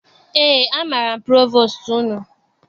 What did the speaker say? Eé, amaara m provostu unu.